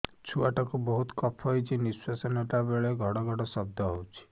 ଛୁଆ ଟା କୁ ବହୁତ କଫ ହୋଇଛି ନିଶ୍ୱାସ ନେଲା ବେଳେ ଘଡ ଘଡ ଶବ୍ଦ ହଉଛି